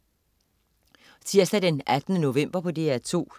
Tirsdag den 18. november - DR2: